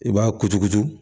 I b'a kuturukutu